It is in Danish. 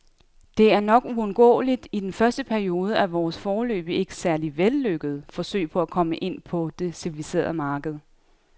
Det er nok uundgåeligt i den første periode af vores, foreløbig ikke særlig vellykkede, forsøg på at komme ind på det civiliserede marked.